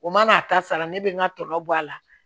O man'a ta sara ne bɛ n ka tɔ bɔ a la